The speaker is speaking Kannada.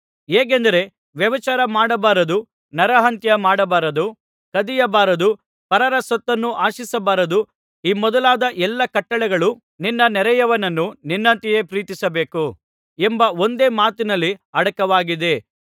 ಹೇಗೆಂದರೆ ವ್ಯಭಿಚಾರ ಮಾಡಬಾರದು ನರಹತ್ಯ ಮಾಡಬಾರದು ಕದಿಯಬಾರದು ಪರರ ಸೊತ್ತನ್ನು ಆಶಿಸಬಾರದು ಈ ಮೊದಲಾದ ಎಲ್ಲಾ ಕಟ್ಟಳೆಗಳು ನಿನ್ನ ನೆರೆಯವನನ್ನು ನಿನ್ನಂತೆಯೇ ಪ್ರೀತಿಸಬೇಕು ಎಂಬ ಒಂದೇ ಮಾತಿನಲ್ಲಿ ಅಡಕವಾಗಿದೆ